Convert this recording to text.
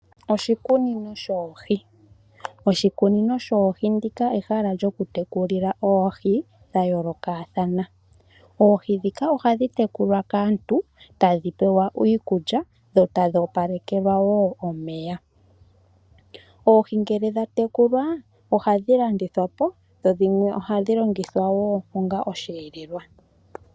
Oshikunino shoohi Oshikunino shoohi ndika ehala lyokutekulila oohi dha yoolokathana. Oohi ndhika ohadhi tekulwa kaantu , tadhi pewa iikulya dho tadhi opalekelwa wo omeya. Oohi ngele dha tekulwa , ohadhi landithapo dho dhimwe ohadhi longithwa woo onga osheelelwa.